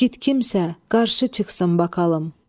Yiğit kimsə, qarşı çıxsın bakalım.